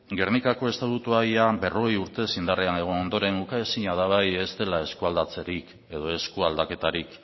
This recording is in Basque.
gernikako estatutua ia berrogei urtez indarrean egon ondoren ukaezina da ez dela eskualdatzerik edo eskualdaketarik